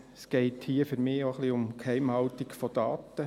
Es geht hier für mich auch etwas um die Geheimhaltung von Daten.